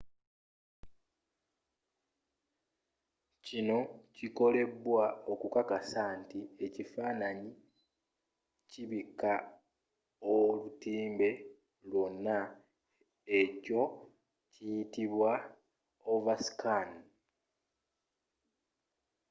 kino kikolebwa okukakasa nti ekifaananyi kibika olutimbe lyonna. ekyo kiyitibwa overscan